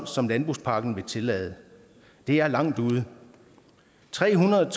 som landbrugspakken vil tillade det er langt ude tre hundrede